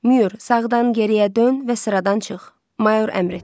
Myur, sağdan geriyə dön və sıradan çıx, Mayor əmr etdi.